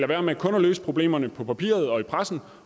være med kun at løse problemerne på papiret og i pressen